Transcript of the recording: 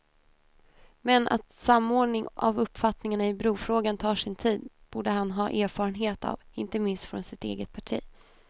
Men att samordning av uppfattningarna i brofrågan tar sin tid borde han ha erfarenhet av inte minst från sitt eget parti.